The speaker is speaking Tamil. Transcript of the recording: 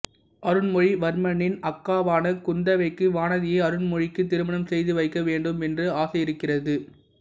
அருண்மொழி வர்மனின் அக்காவான குந்தவைக்கு வானதியை அருண்மொழிக்கு திருமணம் செய்து வைக்க வேண்டும் என்று ஆசையிருக்கிறது